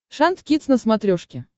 шант кидс на смотрешке